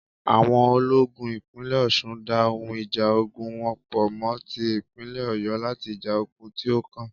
Àwọn ológun ìpínlè Ọ̀sun dá ohun ìjà ogún wọn po mo tí ìpínlè Ọ̀yo láti ja ogún tí o kàn